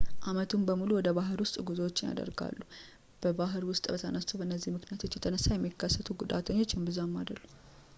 ዓመቱን በሙሉ ወደ ባህር ውስጥ ጉዞዎች ይደረጋሉ በባህር ውስጥ በተነሱት በእነዚህ ምክንያቶች የተነሳ የሚከሰቱ ጉዳቶች እምብዛም አይደሉም